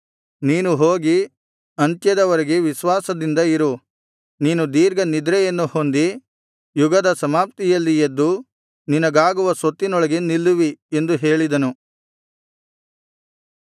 ನೀನು ಹೋಗಿ ಅಂತ್ಯದ ವರೆಗೆ ವಿಶ್ವಾಸದಿಂದ ಇರು ನೀನು ದೀರ್ಘನಿದ್ರೆಯನ್ನು ಹೊಂದಿ ಯುಗದ ಸಮಾಪ್ತಿಯಲ್ಲಿ ಎದ್ದು ನಿನಗಾಗುವ ಸ್ವತ್ತಿನೊಳಗೆ ನಿಲ್ಲುವಿ ಎಂದು ಹೇಳಿದನು